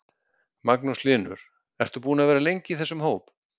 Magnús Hlynur: Ert þú búinn að vera lengi í þessum hóp?